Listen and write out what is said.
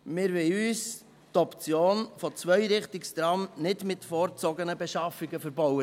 Wir wollen uns die Option für Zweirichtungstrams nicht mit vorgezogenen Beschaffungen verbauen.